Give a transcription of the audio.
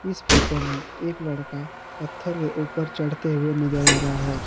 इस फोटो में एक लड़का पत्थर के ऊपर चढ़ते हुए नजर आ रहा है।